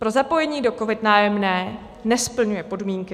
Pro zapojení do COVID - Nájemné nesplňuje podmínky.